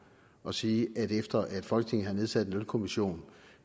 at sige at vi efter at folketinget havde nedsat en lønkommission